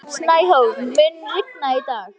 Snæhólm, mun rigna í dag?